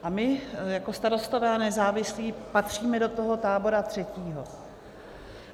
A my jako Starostové a nezávislí patříme do toho tábora třetího.